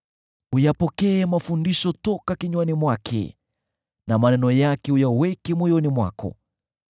Uyapokee mafundisho toka kinywani mwake, na maneno yake uyaweke moyoni mwako.